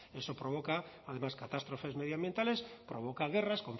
eso provoca además catástrofes medioambientales provoca guerras